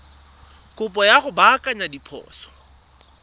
kopo ya go baakanya diphoso